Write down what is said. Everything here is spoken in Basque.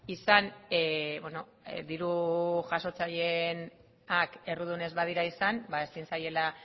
izan diru jasotzaileenak errudunak ez badira izan ezin zaiela